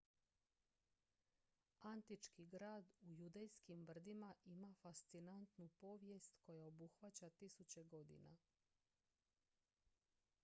antički grad u judejskim brdima ima fascinantnu povijest koja obuhvaća tisuće godina